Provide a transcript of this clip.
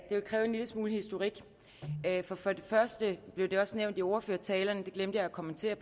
lille smule historik for for det første blev det også nævnt i ordførertalerne det glemte jeg at kommentere